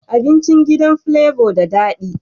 Abincin gidan flavor da dadi